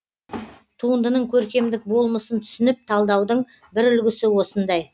туындының көркемдік болмысын түсініп талдаудың бір үлгісі осындай